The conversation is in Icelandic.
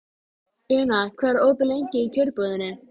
með áskrift nýrra hluta og með útgáfu jöfnunarhlutabréfa.